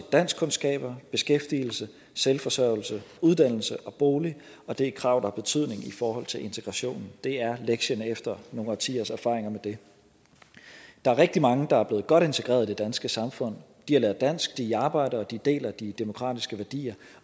danskkundskaber beskæftigelse selvforsørgelse uddannelse og bolig og det er krav der har betydning i forhold til integrationen det er lektien efter nogle årtiers erfaring med det der er rigtig mange der er blevet godt integreret i det danske samfund de har lært dansk de arbejder og de deler de demokratiske værdier